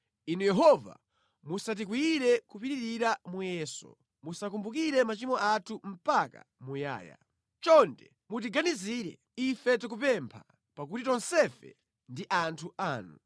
Inu Yehova, musatikwiyire kopitirira muyeso musakumbukire machimo athu mpaka muyaya. Chonde, mutiganizire, ife tikupempha, pakuti tonsefe ndi anthu anu.